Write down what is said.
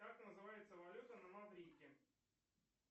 как называется валюта на маврикии